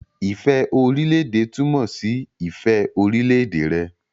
Ifẹ orilẹ-ede tumọ si ifẹ orilẹ-ede rẹ.